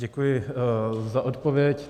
Děkuji za odpověď.